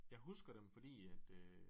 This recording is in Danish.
Jeg husker dem fordi at øh